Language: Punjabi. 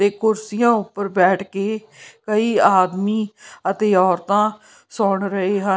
ਇਹ ਕੁਰਸੀਆਂ ਉੱਪਰ ਬੈਠ ਕੇ ਕਈ ਆਦਮੀ ਅਤੇ ਔਰਤਾਂ ਸੁਣ ਰਹੇ ਹਨ।